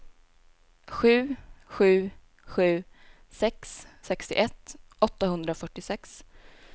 sju sju sju sex sextioett åttahundrafyrtiosex